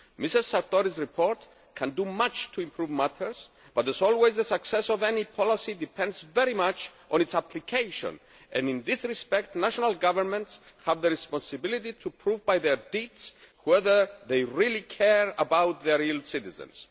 Ms Sartori's report can do much to improve matters, but, as always, the success of any policy depends very much on its application, and in this respect national governments have the responsibility to prove, by their deeds, whether they really care about their citizens.